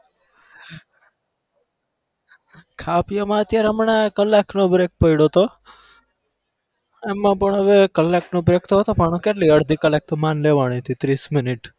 ખાવા પીવામાં અત્યારે હમણાં કલાક નો break પયડો હતો એમાં પણ હવે કલાક નો break તો હતો પણ કેટલી વાર અડધા કલાક માંડે લેવાનિતિ ત્રીસ મિનિટ